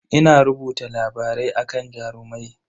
Ina rubuta labarai akan Jarumai.